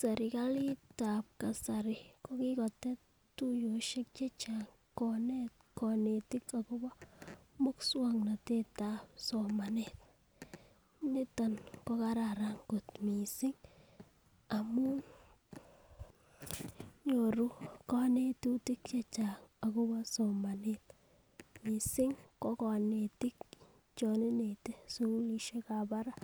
Serkali tab kasari ko kikotet tuyoshek chechang konet kinetin akobo muswoknotetab somanet niton ko kararan kot missing amun nyoru konetutik chechang akobo somanet missing ko konetik chon ingete sukulishekab barak.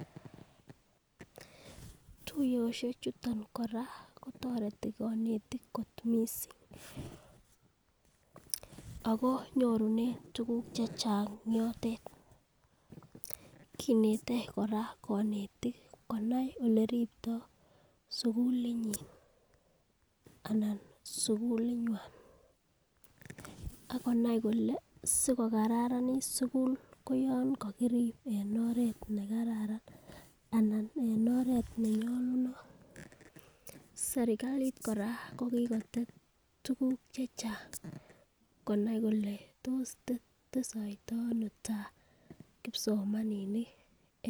Tuyoshek chuto koraa kotoreti konetik missing ako nyorunen tukuk chechang yotet, kinetet koraa konetik konao ole ripto sukulit nyin ana sukulit nywan akonai kole sikokararnit sukul koyon kokirip en oret nekararan ana en oret nenyolunot, serkali kora ko kikotet tukuk chechang konai kole tos testoitono tai kipsomaninik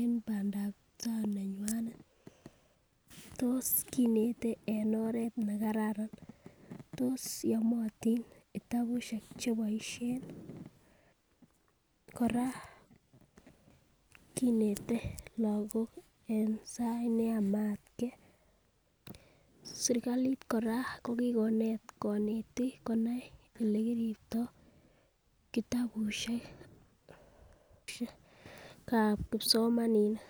en pandap tai nenyunet tos kinetet en oret makaran , tos yomotik kitabushek cheboishen nii . Koraa kinetet lokok en sait neyomegee sirkalit koraa ko kikotet kinetik konai olekiripti rabishekab kipsomaninik.